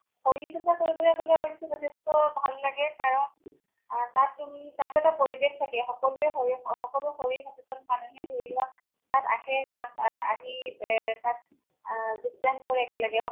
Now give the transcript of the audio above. শৰীৰ চৰ্চা কৰিবলৈ গʼলে অৱশ্য়ে যথেষ্ট ভাল লাগে কাৰণ আ তাত তুমি, তাত এটা পৰিৱেশ থাকে সকলোৱে শৰীৰ সকলো শৰীৰ সচেতন মানুহে ধৰি লোৱা, তাত আহে তাত আহি এ তাত আ যোগদান কৰে একেলগে ।